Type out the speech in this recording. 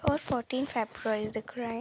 और fourteen February दिख रहा है।